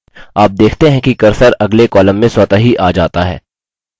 आप देखते हैं कि cursor अगले column में स्वतः ही आ जाता है